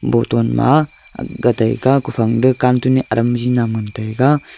botton ma ag gataiga kufang duh cantun aram biji nam ngan taiga.